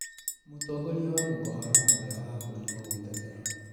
Mũtongoria wa Boko Haram ũrĩa wahagũrirwo gwitetera